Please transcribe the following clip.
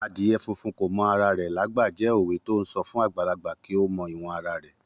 Adìyẹ funfun kò mọ ara rẹ lágbà jẹ́ òwe to ń sọ fún àgbàlagbà kí ó mọ ìwọ̀n ara rẹ̀.